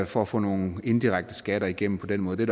for at få nogle indirekte skatter igennem på den måde det